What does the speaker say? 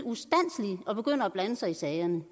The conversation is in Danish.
og begynder at blande sig i sagerne